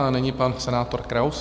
A nyní pan senátor Kraus.